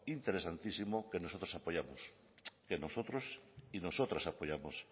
interesantísimo que nosotros y nosotras apoyamos